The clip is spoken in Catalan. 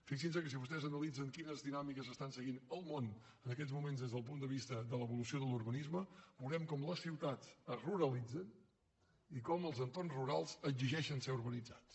fixin se que si vostès analitzen quines dinàmiques s’estan seguint al món en aquests moments des del punt de vista de l’evolució de l’urbanisme veurem com les ciutats es ruralitzen i com els entorns rurals exigeixen ser urbanitzats